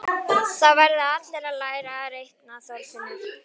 Það verða allir að læra að reikna, Þorfinnur